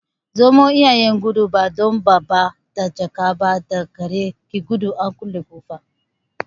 Zomo iyayen gudu, ba don da babba da jaka ba, da gare ki gudu an kulle ƙofa.